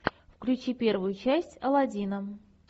включи первую часть алладина